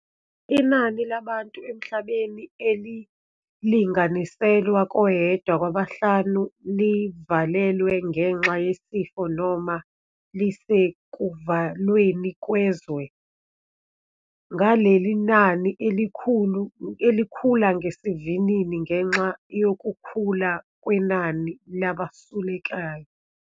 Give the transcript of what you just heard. Inani labantu emhlabeni elili-nganiselwa koyedwa kwabahlanu livalelwe ngenxa yesifo noma lisekuvalweni kwezwe, ngaleli nani elikhula ngesivinini ngenxa yokukhula kwenani labasulelekayo.